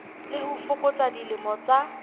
le ho fokotsa dilemo tsa